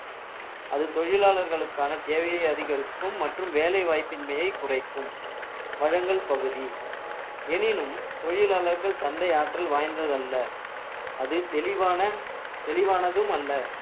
அது தொழிலாளர்களுக்கான தேவையை அதிகரிக்கும் மற்றும் வேலைவாய்ப்பின்மையை குறைக்கும் வழங்கல் பகுதி எனினும் தொழிலாளர்கள் சந்தை ஆற்றல் வாய்ந்தது அல்ல அது தெளிவான~ தெளிவானதும் அல்ல